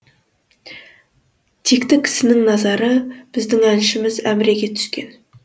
текті кісінің назары біздің әншіміз әміреге түскен